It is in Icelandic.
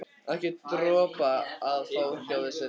Ekki dropa að fá hjá þeirri konu.